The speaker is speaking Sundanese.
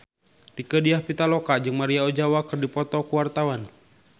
Rieke Diah Pitaloka jeung Maria Ozawa keur dipoto ku wartawan